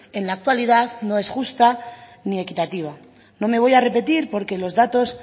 en la actualidad no es justa ni equitativa no me voy a repetir porque los datos